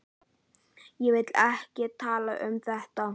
Ég vil ekki tala um þetta.